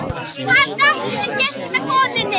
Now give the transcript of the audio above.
Hann settist inn í kirkju með konunni.